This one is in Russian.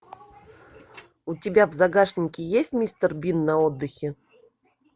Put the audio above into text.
у тебя в загашнике есть мистер бин на отдыхе